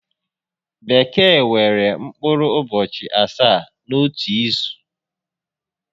Bekee nwere mkpụrụ ụbọchị asaá n'otu izu